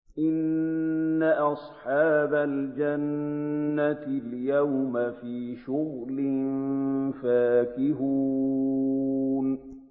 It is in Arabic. إِنَّ أَصْحَابَ الْجَنَّةِ الْيَوْمَ فِي شُغُلٍ فَاكِهُونَ